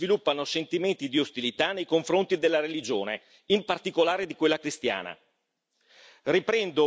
Purtroppo in certi ambienti si sviluppano sentimenti di ostilità nei confronti della religione, in particolare di quella cristiana.